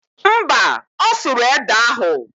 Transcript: Mba, ọ sụrụ ede ahụ